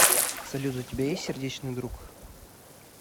салют у тебя есть сердечный друг